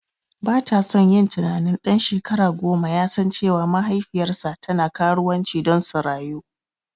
Batason yin tunanin ɗan shekara goma yasan cewa mahaifiyarsa tana karuwanci don su rayu.